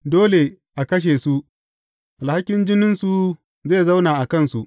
Dole a kashe su; alhakin jininsu zai zauna a kansu.